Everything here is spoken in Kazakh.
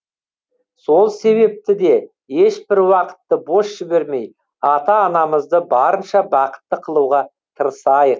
сол себепті де ешбір уақытты бос жібермей ата анамызды барынша бақытты қылуға тырысайық